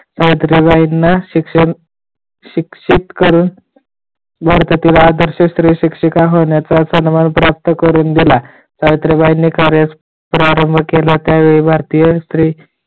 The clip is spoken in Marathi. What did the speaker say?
सावित्रीबाईंना शिक्षण शिक्षित करून भारतातील आदर्श स्त्री शिक्षिका होण्याचा सन्मान प्राप्त करून दिला सावित्रीबाईंनी कार्यास प्रारंभ केला त्यावेळी भारतीय स्त्री